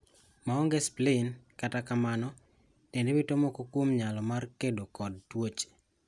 Maonge spleen, kata kamano, dendi wito moko kuom nyalo mar kedo kod tuoche.